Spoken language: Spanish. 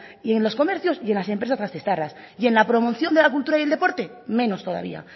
y en los comercios y en las empresas gasteiztarras y en la promoción de la cultura y el deporte menos todavía